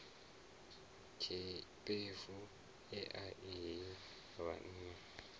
tshiṱefu ea i he vhanna